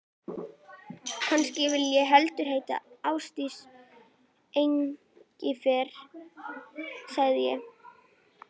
Kannski vildi hún heldur heita Ásdís Engifer, sagði ég.